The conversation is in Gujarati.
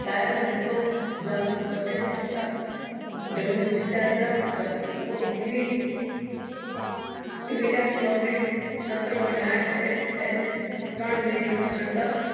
પચીસ ટકા wg ચાર ગ્રામ gram સ્તર point આંઠ ત્રણ millileter નો છ્દ્કાવ